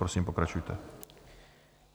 Prosím, pokračujte.